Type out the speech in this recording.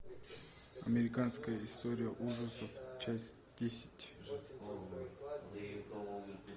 американская история ужасов часть десять